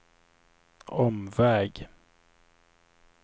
omväg